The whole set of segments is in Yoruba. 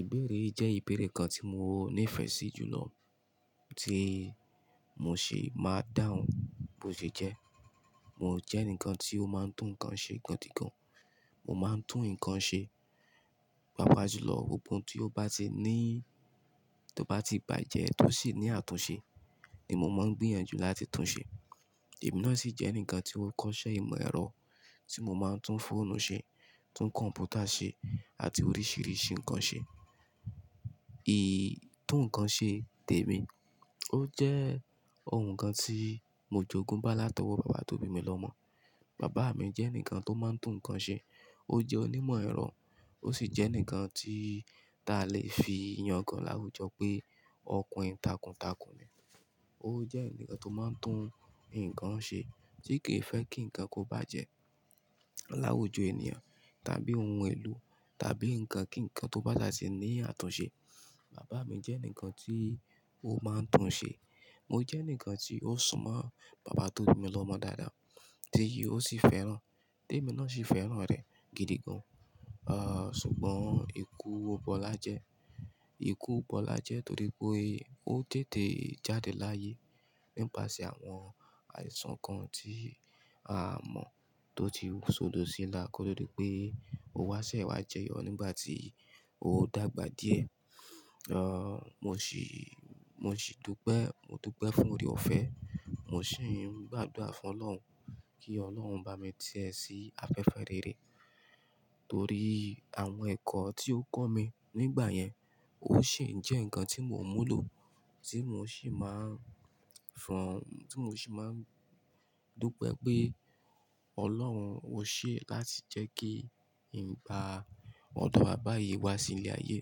Ìbéèrè yii jẹ́ ìbéèrè kan tí mo ní ìfẹ́ sí jùlọ tí mo ṣi máa dáhùn bó ṣe jẹ́. Mo jẹ́ eǹikan tí ó máa ń tún nǹkan ṣe gidi gan. Mo máa ń tún nǹkan ṣe, pàápàá jùlọ gbogbo n tí ó bá ti ní, tó bá ti bàjẹ́ tósí ní àtúnṣe ni mo máa ń gbìyànjú láti tún ṣe. Ẹ̀mí náà sì jẹ́ ǹkan tí ó kọ́ṣẹ́ ìmọ̀ ẹ̀rọ tí mo máa ń tún fóònù ṣe, tún kọ̀m̀pútà ṣe àti oríṣìíríṣìí nǹkan ṣe. Í, tún nǹkan ṣe tèmi, ó jẹ́ ohun kan tí mo jogún bá látọwọ́ bàbá tó bí mi lọmọ. Bàbá mi jẹ́ eǹikan tó máa ń tún nǹkan ṣe, ó jẹ́ onímọ̀ ẹ̀rọ, ó sì jẹ́ eǹikan tí ta lè fi yangàn láwùjọ pé ọkùrin tàkùntàkùn ni. Ó jẹ́ eǹikan tó máa ń tún nǹkan ṣe tí kì í fẹ́ kí nǹkan kó bá jẹ́ láwùjọ ènìyàn tàbí ohun èlò tàbí ǹkan kí ǹkan tó bá sà tí ní àtúnṣe. Bàbá mi jẹ́ eǹikan tí ó máa ń tún ṣe. Mo jẹ́ eǹikan tí ó súnmọ́ bàbá tó bí mi lọmọ dáadáa tí ó sì fẹ́ràn. Tèmi náà sì fẹ́ràn rẹ̀ gidi gan, ah, ṣùgbọ́n ikú bọlá jẹ. Ikú bọlá jẹ torí pé ó tètè jáde láyé nípasẹ̀ àwọn àìsàn kan tí a mọ̀ tó ti sodo síla kọ́ tii di pé ó wá sẹ́wá jẹyọ nígbà tí ó dàgbà díẹ̀. Ah, mo sì, mo sì dúpẹ́, mo dúpẹ́ fún oore-ọ̀fẹ́, mo sì ń gbàdúrà fún Ọlọ́run kí Ọlọ́run bá mi tẹ̀ sí afẹ́fẹ́ rere torí àwọn ẹ̀kọ́ tí ó kọ́ mi nígbà yẹn ó sì ń jẹ́ ǹkan tí mò ń múlò tí mo sì máa ń fún, tí mo sì máa ń dúpẹ́ pé Ọlọ́run ó ṣẹ́ láti jẹ́ kí ǹ bá ọdo bàbá yii wá sí ilẹ̀ ayé.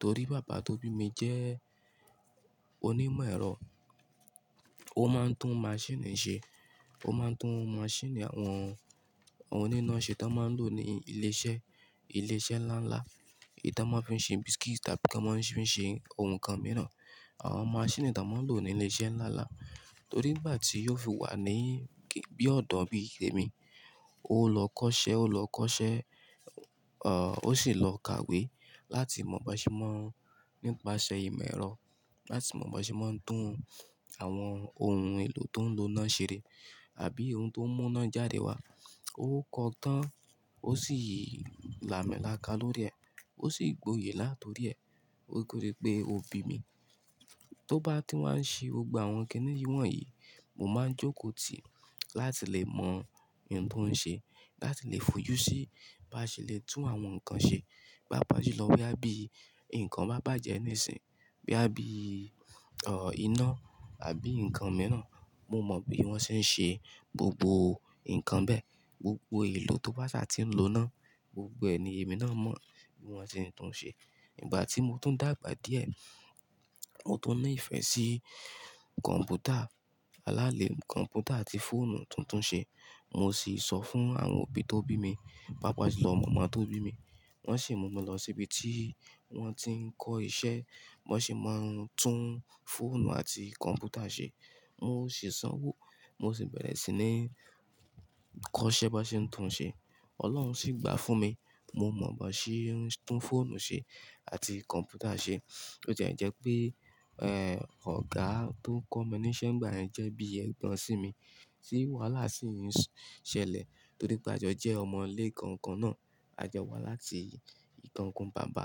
Torí bàbá tó bí mi jẹ́ onímọ̀ ẹ̀rọ, ó máa ń tún maṣíìnì ṣe, ó máa ń tún maṣíìnì àwọn oní iná ṣe tí wọ́n máa ń lò ní ilé-iṣẹ́, ilé-iṣẹ́ ńlá ńlá, èyí ton máa ń fi ṣe biscuit tàbí tan máa fi ṣe ohun kan mìíràn. Àwọn maṣíìnì ton máa ń lò ní ilé-iṣẹ́ ńlá ńlá torí nígbà tí ó fi wà ní bí ọ̀dọ́ bí i tèmi, ó lọ kọ́ṣẹ́, ó lọ kọ́ṣẹ́, ah, ó sì lọ kàwé láti mọ̀ bi wón ṣe máa ń, nípasẹ̀ ìmọ̀ ẹ̀rọ láti mọ̀ bi wón ṣe máa ń tún àwọn ohun èlò tó ń lo unáà ṣe àbí ohun tó n mú iná jáde wá. Ó kọ́ ọ tán, ó sì làámilàáká lórí ẹ̀, ó sì gbòye látọ̀rí ẹ̀ koto dí pé ó bí mi. Tó bá ti wá ń ṣe gbogbo àwọn kínní wọ̀nyí, mo máa ń jókòó tì láti lè mọ in tó ń ṣe láti lè fojú sí bá ṣe lè tún àwọn nǹkan ṣe pàápàá jùlọ boya bí nǹkan bá bàjẹ́ nísìn, boyà bí, ah, iná àbí nǹkan mìíràn, mo mọ̀ bí wọ́n ṣe ń ṣe gbogbo nǹkan bẹ́ẹ̀. Gbogbo èlò tó bá ṣa ti ń lo inà gbogbo ẹ ni, èmi náà mọ̀ bí wọ́n ṣe ń tún ṣe. Ígbà tí mo tún dàgbà díẹ̀, mo tún ní ìfẹ́ sí kọ̀m̀pútà, aláàlé kọ̀m̀pútà àti fóònù tuntun ṣe. Mo sì sọ fún àwọn òbí tó bí mi, pàápàá jùlọ màmá tó bí mi, wọ́n sì mú mi lọ sí ibi tí wọ́n ti ń kọ́ iṣẹ́, bi wọ́n se máa ń tún fóònù àti kọ̀m̀pútà ṣe. Mo sì sanwó, mo sì bẹ̀rẹ̀ sí ní kọ́ṣẹ́ bi won ṣe ń tún ṣe. Ọlọ́run sì gbà fún mi, mo mọ̀ bi wón ṣe ń tún fóònù ṣe àti kọ̀m̀pútà ṣe. Botie jẹ́ pé, ẹ́, ọ̀gá tó ń kọ́ mi ní iṣẹ́ ngbà yẹn jẹ́ bí ẹgbọn sí mi tí wàhálà sì ń ṣẹlẹ̀ torí pé a jọ jẹ́ ọmọ ilé kankan náà, a jọ wá láti ìkankan bàbá.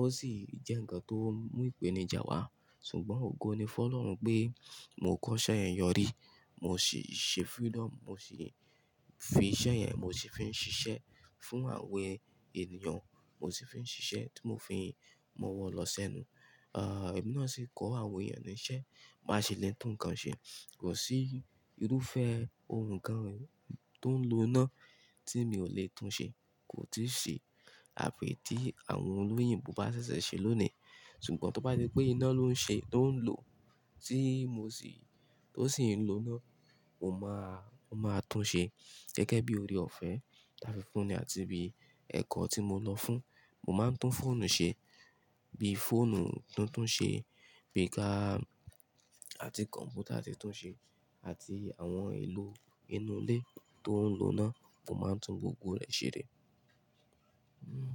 Ó sì jẹ́ ǹkan tó mú ìpèníjà wá. Ṣùgbọ́n ògo ni fún Ọlọ́run pé mo kọ́ṣẹ́ yẹn yọrí, mo sì ṣe freedom, mo sì fi iṣẹ́ yẹn, mo sì fi ń ṣiṣẹ́ fún àwọn ènìyàn, mo sì fi ń ṣiṣẹ́ tí mo fi ń mọwọ́ lọ sẹ́nu. Ah, ẹ̀mí náà sì kọ́ àwọn èèyàn ní iṣẹ́ bá ṣe lè tún nǹkan ṣe. Kò sí irúfẹ́ ohun kan tó ń lo iná tí èmi ò lè tún ṣe, kò tíì ṣe àfi tí àwọn olóyìnbo bá ṣẹ̀ṣẹ̀ ṣe lónìí. Ṣùgbọ́n tó bá se pé iná ló ń ṣe, tó ń lò tí mo sì, tó sì ń lo iná, mo máa, mo máa tún ṣe gẹ́gẹ́ bí oore-ọ̀fẹ́ tàa funi àti bí ẹ̀kọ́ tí mo lọ fún. Mo máa ń tún fóònù ṣe bí fóònù tuntun ṣe, bi ká àti kọ̀m̀pútà tí tún ṣe àti àwọn èlò inú ilé tó ń lo iná, mo máa ń tún gbogbo rẹ̀ ṣe rè. Hmm.